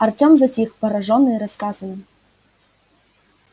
артём затих поражённый рассказанным